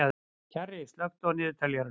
Kjarri, slökktu á niðurteljaranum.